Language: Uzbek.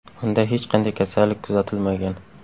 Unda hech qanday kasallik kuzatilmagan.